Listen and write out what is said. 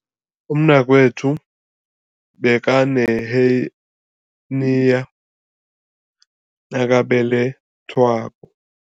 Umnakwethu bekaneheniya nakabelethwako.